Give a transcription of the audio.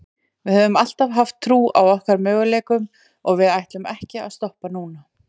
Við höfum alltaf haft trú á okkar möguleikum og við ætlum ekki að stoppa núna.